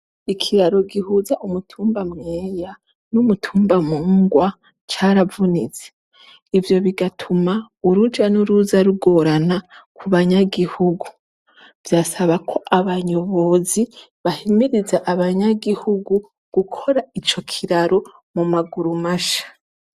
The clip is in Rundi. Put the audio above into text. Ikiraro gihuza umutumba Mweya n'umutumba Mungwa caravunitse. Ivyo bigatuma uruja n'uruza rugorana ku banyagihugu. Vyasaba ko abayobozi bahimiriza abanyagihugu gukora ico kiraro mu maguru masha.